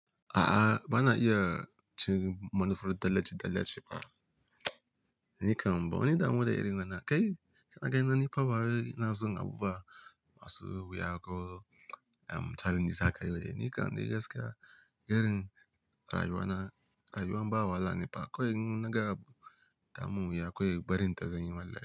A'a, ba na iya cin manufur, tallace tallace ba. Ni kam, ba wani damuwa da irin wannan kai. A gani na ni ko bawai ina son abuba masu wuya ko challenges aka yi. Ni kam dai gaskiya, irin rayuwa na, rayuwan ba wahala ne fa. Akwai yin wani ga abu ta mun wuyi kawai barin ta kawai zan yi wallahi.